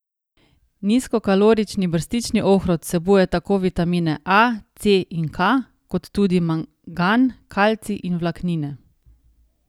Nizkokalorični brstični ohrovt vsebuje tako vitamine A, C in K kot tudi mangan, kalcij in vlaknine.